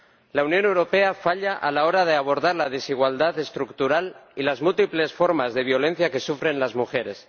La Unión Europea falla a la hora de abordar la desigualdad estructural y las múltiples formas de violencia que sufren las mujeres.